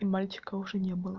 и мальчика уже не было